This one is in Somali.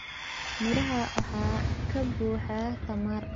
Miraha waxaa ka buuxa tamar.